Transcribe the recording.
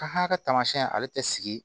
Ka hɛrɛ taamasiyɛn ale tɛ sigi